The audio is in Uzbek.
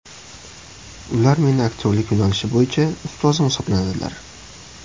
Ular meni aktyorlik yo‘nalishi bo‘yicha ustozim hisoblanadilar.